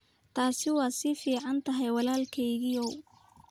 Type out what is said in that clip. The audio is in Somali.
Taasi waa fiican tahay walaalkeyow .